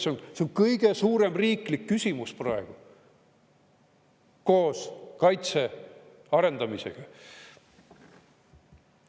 See on kõige suurem riiklik küsimus praegu koos kaitse arendamisega.